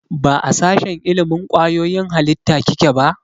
Ba a sashen ilimin kwayoyin halitta kike ba?